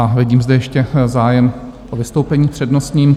A vidím zde ještě zájem o vystoupení přednostní.